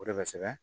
O de bɛ kosɛbɛ